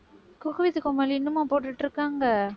cook with Comali இன்னுமா போட்டுட்டிருக்காங்க